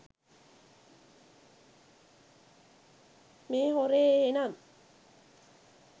මේ හොරේ එහෙනම්.